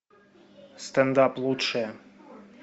стендап лучшее